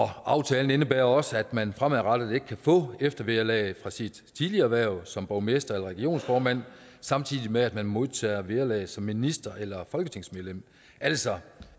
aftalen indebærer også at man fremadrettet ikke kan få eftervederlag fra sit tidligere hverv som borgmester eller regionsformand samtidig med at man modtager vederlag som minister eller folketingsmedlem altså